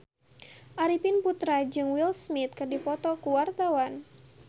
Arifin Putra jeung Will Smith keur dipoto ku wartawan